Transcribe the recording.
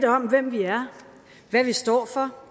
om hvem vi er hvad vi står for